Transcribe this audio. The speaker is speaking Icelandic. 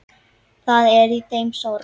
Það er í þeim sorg.